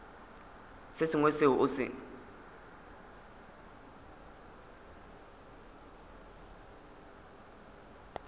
se sengwe seo o se